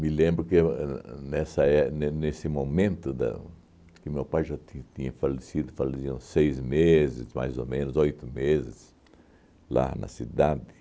Me lembro que eu é é, nessa é ne nesse momento da que o meu pai já ti tinha falecido, faleciam seis meses, mais ou menos, oito meses, lá na cidade.